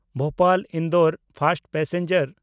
ᱵᱷᱳᱯᱟᱞ–ᱤᱱᱫᱳᱨ first passenger